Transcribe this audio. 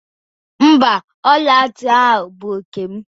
Mba, ọla ntị ahụ bụ nkem